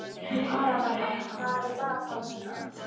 Arabella, hvað er í dagatalinu í dag?